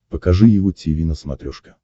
покажи его тиви на смотрешке